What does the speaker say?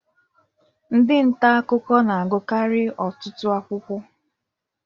Ndị nta akụkọ na agukari ọtụtụ akwụkwọ.